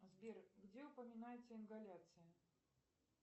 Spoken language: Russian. сбер где упоминается ингаляция